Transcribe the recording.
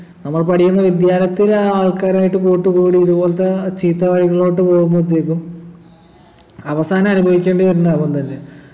നമ്മൾ പഠിക്കുന്ന വിദ്യാലയത്തിലെ ആൾക്കാരായിട്ട് കൂട്ടുകൂടി ഇത്പോലത്തെ ചീത്ത വഴികളിലോട്ട് പോകുമ്പോത്തേക്കും അവസാനം അനുഭവിക്കേണ്ടി വരുന്നതവൻതന്നെ